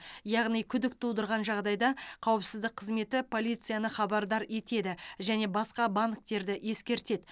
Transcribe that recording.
яғни күдік тудырған жағдайда қауіпсіздік қызметі полицияны хабардар етеді және басқа банктерді ескертеді